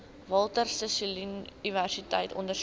walter sisuluuniversiteit ondersteun